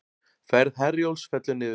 Ferð Herjólfs fellur niður